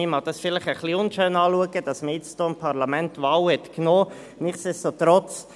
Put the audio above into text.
Man mag es jetzt vielleicht als etwas unschön anschauen, dass man dem Parlament hier die Wahl genommen hat.